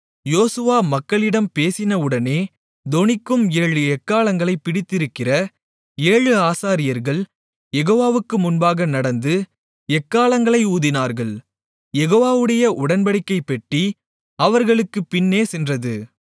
யோசுவா மக்களிடம் பேசினவுடனே தொனிக்கும் ஏழு எக்காளங்களைப் பிடித்திருக்கிற ஏழு ஆசாரியர்கள் யெகோவாவுக்கு முன்பாக நடந்து எக்காளங்களை ஊதினார்கள் யெகோவாவுடைய உடன்படிக்கைப்பெட்டி அவர்களுக்குப் பின்னே சென்றது